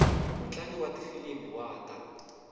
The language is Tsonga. mutlangi wa tifilimi wa ta